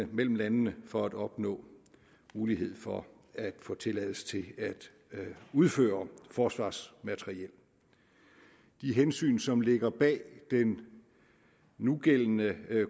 mellem landene for at opnå mulighed for at få tilladelse til at udføre forsvarsmateriel de hensyn som ligger bag den nugældende